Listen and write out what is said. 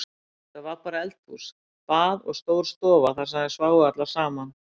Þetta var bara eldhús, bað og stór stofa þar sem þær sváfu allar saman.